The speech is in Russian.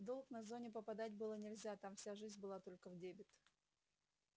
в долг на зоне попадать было нельзя там вся жизнь была только в дебет